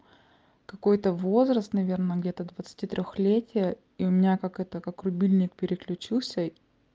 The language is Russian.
какой-то возраст наверное где-то двадцатитрёхлетие и у меня как это как рубильник переключился